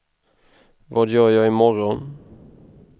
vad gör jag imorgon